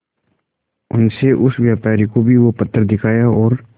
उनसे उस व्यापारी को भी वो पत्थर दिखाया और